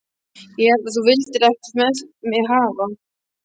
Ég hélt að þú vildir ekkert með mig hafa.